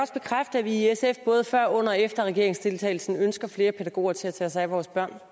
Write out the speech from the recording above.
bekræfte at vi i sf både før under og efter regeringsdeltagelsen ønskede flere pædagoger til at tage sig af vores børn